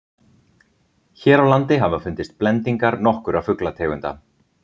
hér á landi hafa fundist blendingar nokkurra fuglategunda